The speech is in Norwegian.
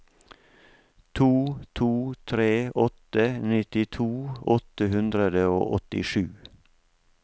to to tre åtte nittito åtte hundre og åttisju